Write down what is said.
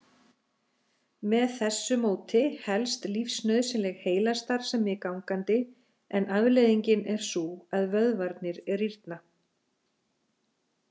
Með þessu móti helst lífsnauðsynleg heilastarfsemi gangandi en afleiðingin er sú að vöðvarnir rýrna.